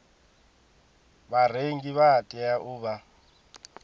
vharengi vha tea u vha